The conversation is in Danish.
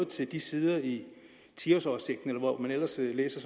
til de sider i ti års oversigten eller hvor man ellers læser